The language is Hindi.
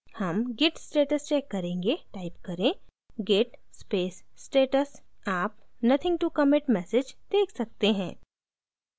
हम git status check करेंगे टाइप करें git space status आप nothing to commit message check सकते हैं